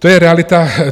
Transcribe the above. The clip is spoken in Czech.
To je realita.